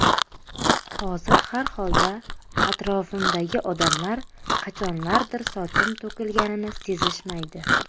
Hozir har holda atrofimdagi odamlar qachonlardir sochim to‘kilganini sezishmaydi.